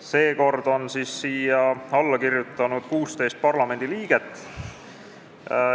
Seekord on siia alla kirjutanud 16 parlamendiliiget.